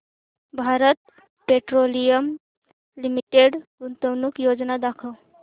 Bharat Petroleum Limited गुंतवणूक योजना दाखव